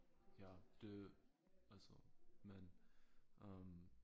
Ja det altså men øh